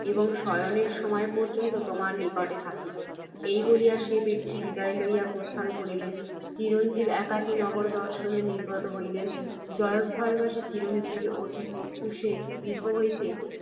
এবং শয়নের সময় পর্য্যন্ত তোমার নিকটে থাকিব। এই বলিয়া, সে ব্যক্তি বিদায় লইয়া প্রস্থান করিলে, চিরঞ্জীব একাকী নগর দর্শনে নির্গত হইলেন। জয়স্থলবাসী চিরঞ্জীব অতি প্রত্যুষে গৃহ হইতে